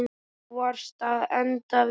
Þú varst að enda við.